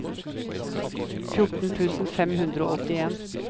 fjorten tusen fem hundre og åttien